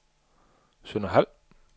Sønderhald